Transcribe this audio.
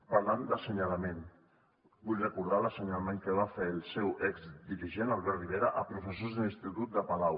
parlant d’assenyalament vull recordar l’assenyalament que va fer el seu exdirigent albert rivera a professors de l’institut de palau